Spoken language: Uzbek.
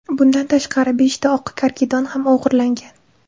Bundan tashqari, beshta oq karkidon ham o‘g‘irlangan.